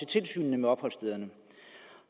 tilsynet med opholdsstederne